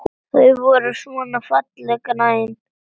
Þau voru svona fallega græn!